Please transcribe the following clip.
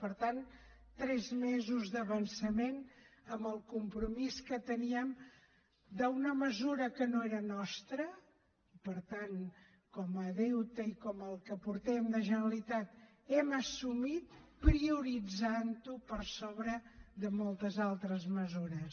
per tant tres mesos d’avançament al compromís que teníem d’una mesura que no era nostra per tant com a deute i com el que portem de generalitat l’hem assumit prioritzant ho per sobre de moltes altres mesures